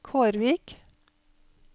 Kårvik